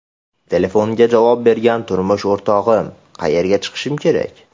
Telefonga javob bergan turmush o‘rtog‘im: ‘Qayerga chiqishim kerak?